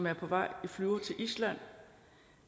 er på vej i flyver til island